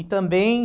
E também...